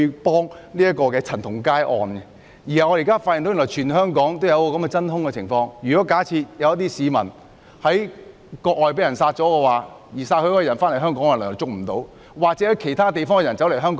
不單為了陳同佳案，我們亦發現現時出現真空情況，假設有市民在國外被殺，而兇手回到香港，當局便無法作出拘捕。